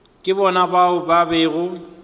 ke bona bao ba bego